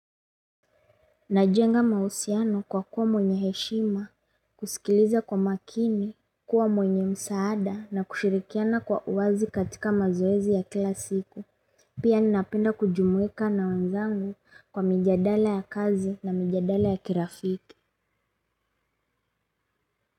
Najenga maausiano kwa kuwa mwenye heshima, kusikiliza kwa makini, kuwa mwenye msaada na kushirikiana kwa uwazi katika mazoezi ya kila siku. Pia ninapenda kujumuika na wenzangu kwa mijadala ya kazi na mijadala ya kirafiki.